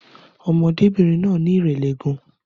Ọmọdébìnrin náà ní ìrẹ̀lẹ̀ gan